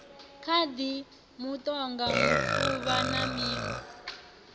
khadi mutoga mufuvha na miṋwe